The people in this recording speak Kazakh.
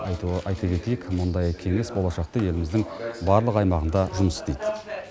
айтуын айта кетейік мұндай кеңес болашақта еліміздің барлық аймағында жұмыс істейді